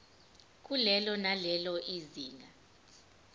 kulelo nalelo zinga